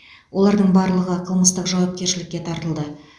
олардың барлығы қылмыстық жауапкершілікке тартылды